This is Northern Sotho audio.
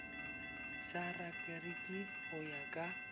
sa rakariki go ya ka